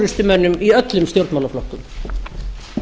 frú forseti ég held að það